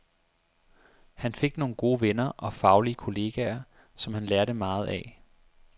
Han fik nogle gode venner og faglige kolleger, som han lærte meget af.